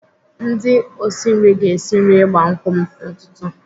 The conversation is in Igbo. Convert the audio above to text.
Ndị osi nri ga-esi nri ịgba nkwụ m n'ụtụtụ.